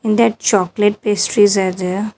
And that chocolate pastries are there.